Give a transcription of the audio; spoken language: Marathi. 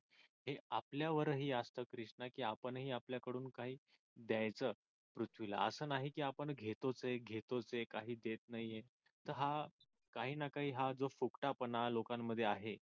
हे आपल्या वरही असत कृष्णा की आपण ही आपल्या कडुन काही द्यायच पृथ्वीला आस नाही का आपण घेतोच आहे घेतोच आहे काही देत नाहीये तर हा काही ना काही हा फुकटापणा लोकांमध्ये आहे.